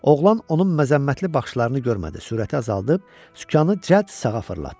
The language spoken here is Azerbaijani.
Oğlan onun məzəmmətli baxışlarını görmədi, sürəti azaldıb sükanı cəld sağa fırlatdı.